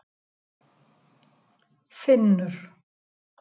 Finnur